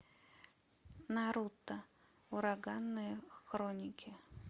наруто ураганные хроники